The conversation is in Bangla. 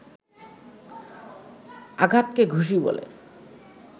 আঘাতকে ঘুষি বলে